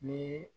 Ni